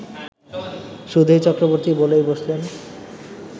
সুধীর চক্রবর্তী বলেই বসলেন